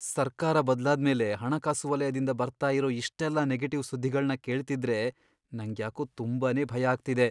ಸರ್ಕಾರ ಬದ್ಲಾದ್ಮೇಲೆ ಹಣಕಾಸು ವಲಯದಿಂದ ಬರ್ತಾ ಇರೋ ಇಷ್ಟೆಲ್ಲ ನೆಗೆಟಿವ್ ಸುದ್ದಿಗಳ್ನ ಕೇಳ್ತಿದ್ರೆ ನಂಗ್ಯಾಕೋ ತುಂಬಾನೇ ಭಯ ಆಗ್ತಿದೆ.